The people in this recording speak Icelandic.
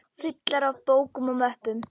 Fullar af bókum og möppum.